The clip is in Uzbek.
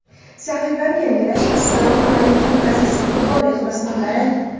Sahifani yangilash Assalomu alaykum, aziz futbol ixlosmandlari.